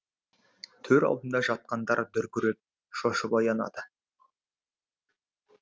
төр алдында жатқандар дүркіреп шошып оянады